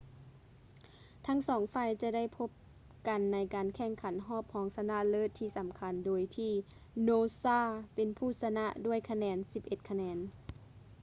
ທັງສອງຝ່າຍຈະໄດ້ພົບກັນໃນການແຂ່ງຂັນຮອບຮອງຊະນະເລີດທີ່ສຳຄັນ ໂດຍທີ່ noosa ເປັນຜູ້ຊະນະດ້ວຍຄະແນນ 11 ຄະແນນ